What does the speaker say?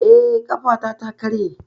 Eh, ƙafata ta karye